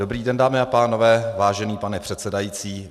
Dobrý den, dámy a pánové, vážený pane předsedající.